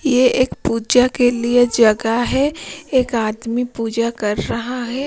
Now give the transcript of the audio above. यह एक पूजा के लिए जगह है एक आदमी पूजा कर रहा है।